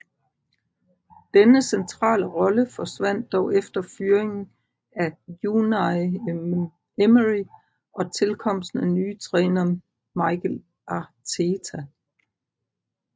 Denne centrale rolle forsvandt dog efter fyringen af Unai Emery og tilkomsten af nye træner Mikel Arteta